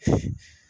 Unhun